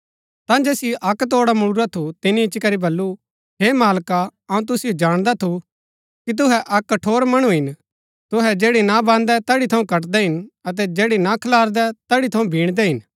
ता जैसिओ अक्क तोड़ा मुळुरा थु तिनी इच्ची करी बल्लू हे मालका अऊँ तुसिओ जाणदा थू कि तुहै अक्क कठोर मणु हिन तुहै जैड़ी ना बान्दै तैड़ी थऊँ कटदै हिन अतै जैड़ी ना खलारदै तैड़ी थऊँ बीणदै हिन